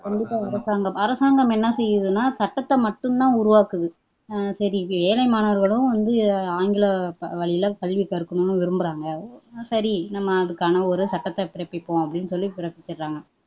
கண்டிப்பா அரசாங்கம். அரசாங்கம் என்ன செய்யுதுன்னா சட்டத்தை மட்டும்தான் உருவாக்குது சரி இது ஏழை மாணவர்களும் ஆங்கில வழில கல்வி கற்கனும்னு விரும்புறாங்க சரி நம்ம அதுக்கான ஒரு சட்டத்தை பிறப்பிப்போம் அப்படின்னு சொல்லி பிறப்பிச்சிர்றாங்க